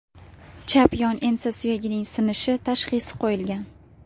Chap yon ensa suyagining sinishi” tashxisi qo‘yilgan.